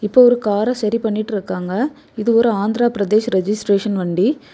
இப்போ ஒரு கார சரி பண்ணிட்டு இருக்காங்க. இது ஒரு ஆந்திரபிரதேஷ் ரெஜிஸ்ட்ரேஷன் வண்டி.